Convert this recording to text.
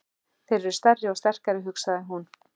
Þeir eru stærri og sterkari, hugsaði hún.